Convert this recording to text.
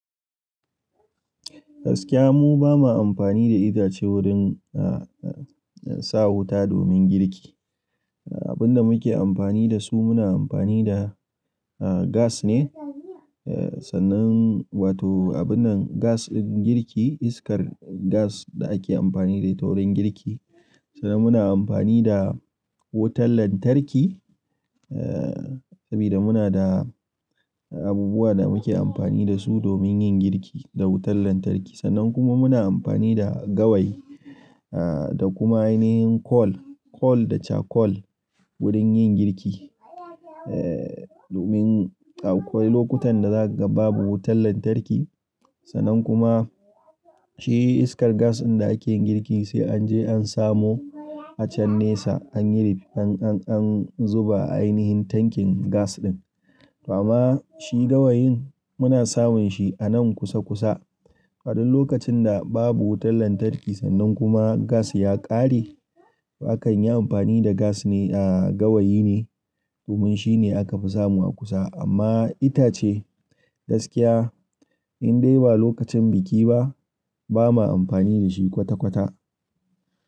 Gaskiya mu ba ma amfani da itace wurin, ah, sa wuta domin girki. Abin da muke amfani da su muna amfani da, ah, gas ne, eh, sannan wato abun nan gas ɗin girki iskar gas da ake amfani da ita wurin girki. Sannan muna amfani da wutar lantarki, eh, sabida muna da abubuwa da muke amfani da su domin yin girki da wutar lantarki. Sannan kuma muna amfani da gawayi, ah, da kuma ainihin kol, kol da cakol wurin yin girki, eh, domin akwai lokutan da zaka ga babu wutar lantarki. Sannan kuma shi iskar gas ɗin da ake girki sai an je an samo a can nesa an yi rif, an, an, an zuba a ainihin tankin gas ɗin. Toh amma shi gawayin muna samun shi anan kusa kusa. A duk lokacin da babu wutar lantarki sannan kuma gas ya ƙare, ba kan yi amfani da gas ne, ah, gawayi ne domin shi ne aka fi samu a kusa. Amma itace gaskiya in dai ba lokacin biki ba, ba ma amfani da shi kwata-kwata.